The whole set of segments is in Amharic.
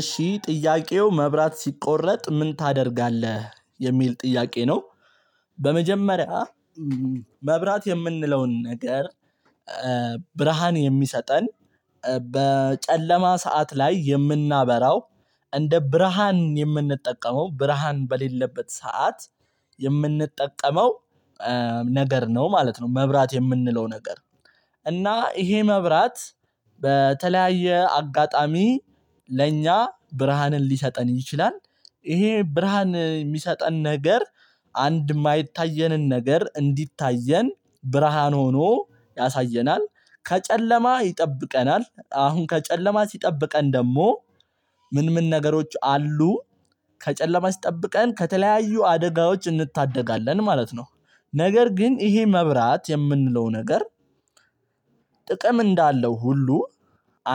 እሺ ጥያቄው መብራት ሲቆረጥ ምን ታደርጋለህ? የሚል ጥያቄ ነው። በመጀመሪያ መብራት የምንለውን ነገር ብርሃን የሚሰጥን፣ በጨለማ ሰዓት ላይ የምናበራው፣ እንደ ብርሃን የምንጠቀመው፤ ብርሃን በሌለበት ሰዓት የምንጠቀመው ነገር ነው ማለት ነው። መብራት የምንለው ነገር። እና ይሄ መብራት በተለየ አጋጣሚ ለኛ ብርሃንን ሊሰጥን ይችላል። ይሄ ብርሃን የሚሰጥን ነገር አንድ የማይታየንን ነገር እንዲታየን ብርሃን ሆኖ ያሳየናል፣ ከጨለማ ይጠብቀናል። አሁን ከጨለማ ሲጠብቀን ደግሞ ምን ምን ነገሮች አሉ? ከጨለማ ሲጠብቀን ከተለያዩ አደጋዎች እንታደጋለን ማለት ነው። ነገር ግን ይሄ መብራት የምንለው ነገር ጥቅም እንዳለው ሁሉ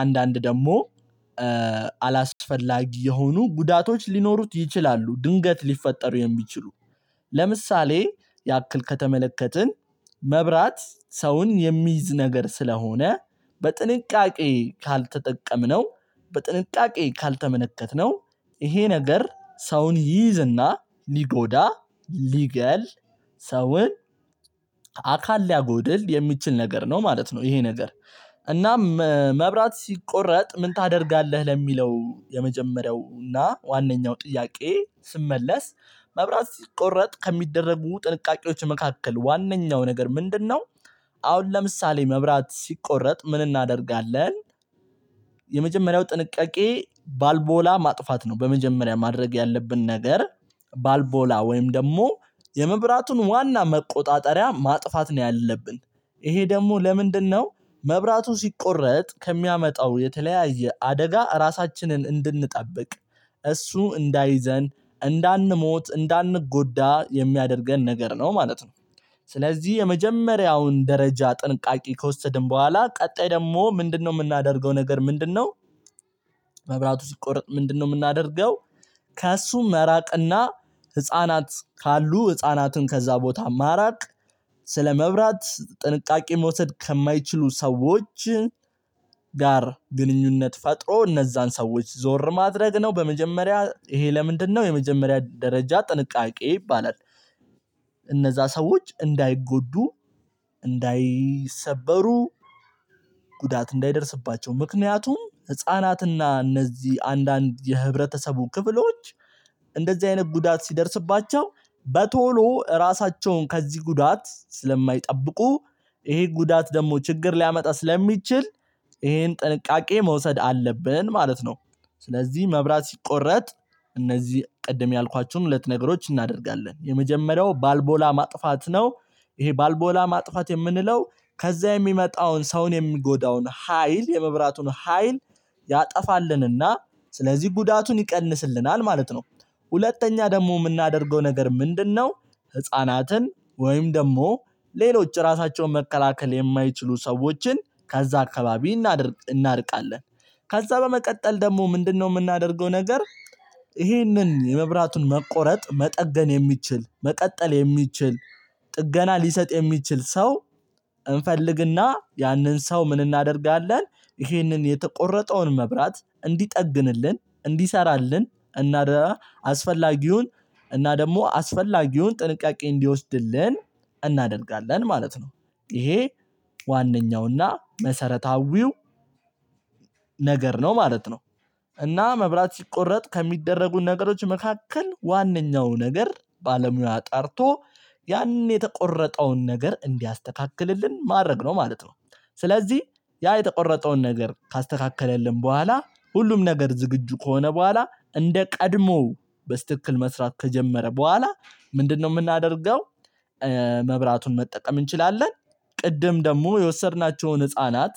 አንዳንድ ደግሞ አላስፈልጋ የሆኑ ጉዳቶች ሊኖሩት ይችላሉ። ድንገት ሊፈጠሩ የሚችሉ። ለምሳሌ ያክል ከተመለከተን መብራት ሰውን የሚይዝ ነገር ስለሆነ በጥንቃቄ ካልተጠቀምነው፣ በጥንቃቄ ካልተመለከትነው ይሄ ነገር ሰውን ይይዝ እና ሊጎዳ፣ ሊገድል ሰውን አካል ሊያጎድል የሚችል ነገር ነው ማለት ነው ይሄ ነገር። እናም መብራት ሲቆረጥ ምን ታደርጋለህ? ለሚለው የመጀመሪያው እና ዋነኛው ጥያቄ ስመለስ መብራት ሲቆረጥ ከሚደረጉ ጥንቃቄዎች መካከል ዋነኛው ነገር ምንድን ነው? አሁን ለምሳሌ መብራት ሲቆረጥ ምን እናደርጋለን? የመጀመሪያው ጥንቃቄ ባልቦላ ማጥፋት ነው። በመጀመሪያ ማድረግ ያለብን ነገር ባልቦላ ወይም ደግሞ የመብራቱን ዋና መቆጣጠሪያ ማጥፋት ነው ያለብን። ይሄ ደግሞ ለምንድን ነው? መብራቱ ሲቆረጥ ከሚያመጣው የተለየ አደጋ እራሳችንን እንድንጠብቅ፣ እሱ እንዳይዘን፣ እንዳንሞት፣ እንዳንጎዳ የሚያደርገን ነገር ነው ማለት ነው። ስለዚህ የመጀመሪያውን ደረጃ ጥንቃቄ ከወሰድን በኋላ ቀጣይ ደግሞ ምንድን ነው ምናደርገው ነገር ምንድን ነው? መብራቱ ሲቆረጥ ምንድን ነው ምናደርገው? ከሱ መራቅ እና ህፃናት ካሉ ህጻናትን ከዛ ቦታ ማራቅ ስለ መብራት ጥንቃቄ መወሰድ ከማይችሉ ሰዎች ጋር ግንኙነት ፈጥሮ እነዛን ሰዎች ዞር ማድረግ ነው በመጀመሪያ። ይሄ ለምንድን ነው? የመጀመሪያ ደረጃ ጥንቃቄ ይባላል። እነዛ ሰዎች እንዳይጎዱ፣ እንዳይሰበሩ፣ ጉዳት እንዳይደርስባቸው። ምክንያቱም ህፃናት እና እነዚህ አንዳንድ የህብረተሰቡ ክፍሎች እንደዚህ አይነት ጉዳት ሲደርስባቸው በቶሎ እራሳቸውን ከዚህ ጉዳት ስለማይጠብቁ ይሄ ጉዳት ደግሞ ችግር ሊያመጣ ስለሚችል ይሄን ጥንቃቄ መወሰድ አለብን ማለት ነው። ስለዚህ መብራት ሲቆረጥ እነዚህ ቅድም ያልኳችሁን ሁለት ነገሮች እናደርጋለን። የመጀመሪያው ባልቦላ ማጥፋት ነው። ይሄ ባልቦላ ማጥፋት የምንለው ከዛ የሚመጣውን ሰውን የሚጎዳውን ሀይል፣ የመብራቱን ሀይል ያጠፋልን እና ስለዚህ ጉዳቱን ይቀንስልናል ማለት ነው። ሁለተኛ ደግሞ ምናደርገው ነገር ምንድን ነው? ህጻናትን ወይም ደግሞ ሌሎች እራሳቸውን መከላከል የማይችሉ ሰዎችን ከዛ አካባቢ እናርቃለን። ከዛ በመቀጠል ደግሞ ምንድን ነው ምናደርገው ነገር? ይህንን የመብራቱን መቆረጥ መጠገን የሚችል፣ መቀጠል የሚችል፣ ጥገና ሊሰጥ የሚችል ሰው እንፈልግ እና ያንን ሰው ምን እናደርጋለን? ይህንን የተቆረጠውን መብራት እንዲጠግንልን፣ እንዲሰራልን እና ደግሞ አስፈላጊውን ጥንቃቄ እንዲወሰድልን እናደርጋለን ማለት ነው። ይሄ ዋናው እና መሰረታዊው ነገር ነው ማለት ነው። እና መብራት ሲቆረት ከሚደረጉ ነገሮች መካከል ዋነኛው ነገር ባለሙያ ጠርቶ ያንን የተቆረጠውን ነገር እንዲያስተካክልን ማድረግ ነው ማለት ነው። ስለዚህ ያ የተቆረጠውን ነገር ካስተካከለልን በኋላ ሁሉም ነገር ዝግጁ ከሆነ በኋላ እንደ ቀድሞው በትክክል መስራት ከጀመረ በኋላ ምንድን ነው ምናደርገው? መብራቱን መጠቀም እንችላለን። ቀድም ደግም የወሰድናቸውን ህፃናት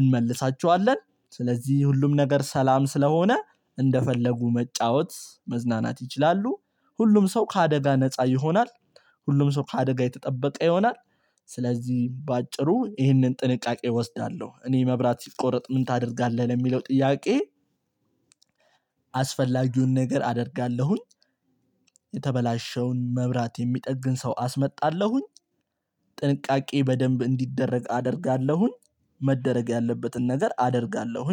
እንመልሳቸዋለን። ስለዚህ ሁሉም ነገር ሰላም ስለሆነ እንደፈለጉ መጫወት፣ መዝናናት ይችላሉ። ሁሉም ሰው ከአደጋ ነፃ ይሆናል፣ ሁሉም ሰው ከአደጋ የተጠበቀ ይሆናል። ስለዚህ በአጭሩ ይህንን ጥንቃቄ እወስዳለሁ። እኔ መብራት ሲቆረጥ ምን ታደርጋለህ የሚለው ጥያቄ አስፈላጊውን ነገር አደርጋለሁኝ፣ የተበላሸውን መብራት የሚጠግን ሰው አስመጣለሁኝ፣ ጥንቃቄ በደንብ እንዲደረግ አደርጋለሁኝ፣ መደረግ ያለበትን ነገር አደርጋለሁኝ